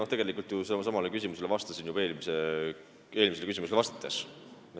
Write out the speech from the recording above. Ma tegelikult ju sellele küsimusele vastasin juba eelmisele küsimusele vastates.